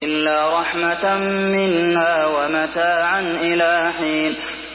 إِلَّا رَحْمَةً مِّنَّا وَمَتَاعًا إِلَىٰ حِينٍ